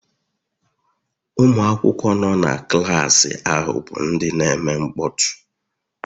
Ụmụ akwụkwọ nọ na klaasị ahụ bụ ndị na-eme mkpọtụ